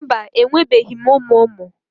Mba, enwebeghị m ụmụ ụmụ